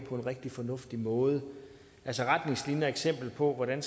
på en rigtig fornuftig måde med retningslinjer og eksempler på hvordan